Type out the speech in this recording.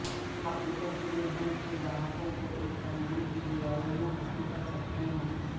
حقیقت یہ ہے کہ گاہکوں کو ایک تنظیم کی دیواروں میں حاصل کر سکتے ہیں